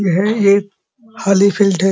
यह एक खाली फील्ड है।